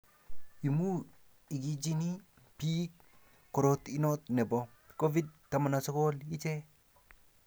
amu igichini biik korot inoto nebo COVID 19 iche